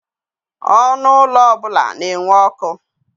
Ọnụ ụlọ ọbụla na-enwe ọkụ.